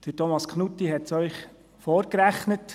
Thomas Knutti hat es Ihnen vorgerechnet;